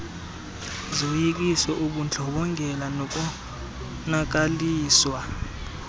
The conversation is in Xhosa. zoyikiso ubundlobongela nokonakaliswa